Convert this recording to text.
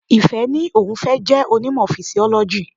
Ìfẹ́ ní òun fẹ́ jẹ́ onímọ̀ Fisiọ́lọ́jì.